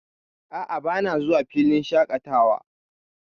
A'a, bana zuwa filin shaƙatawa.